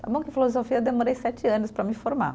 Tá bom que filosofia eu demorei sete anos para me formar.